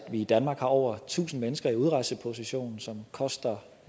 at vi i danmark har over tusinde mennesker i udrejseposition som koster